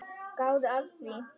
Gáðu að því.